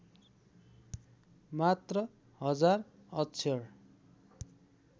मात्र १००० अक्षर